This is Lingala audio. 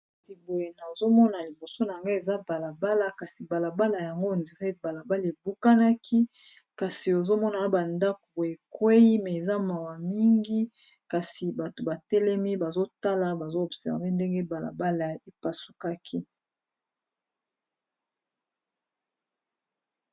Kati boye nazomona liboso na nga eza balabala, kasi balabala yango on dire balabala ebukanaki kasi ozomonana bandako ekweyi eza mawa mingi kasi bato batelemi bazotala bazo observer ndenge balabala epasukaki.